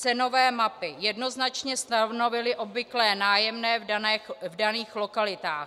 Cenové mapy jednoznačně stanovily obvyklé nájemné v daných lokalitách.